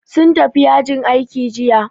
Sun tafi yajin aiki jiya